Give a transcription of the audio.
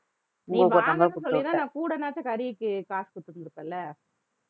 நீ வாங்கறேன்னு சொல்லிருந்தா நான் கூடனாச்சி கறிக்கு காசு கொடுத்திருப்பேன் இல்ல